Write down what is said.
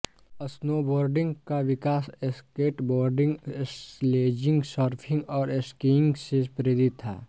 snowboarding का विकास skateboarding sledging surfing और स्कीइंग से प्रेरित था